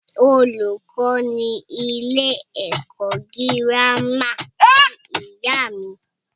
Olùkó ní ilé ẹ̀kọ́ gírámà ní ìyá mí.